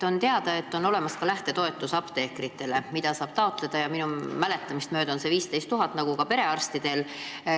On teada, et ka apteekritel on olemas lähtetoetus, mida saab taotleda, ja minu mäletamist mööda on see 15 000 eurot nagu ka perearstidel.